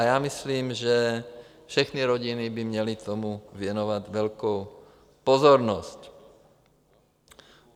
A já myslím, že všechny rodiny by měly tomu věnovat velkou pozornost.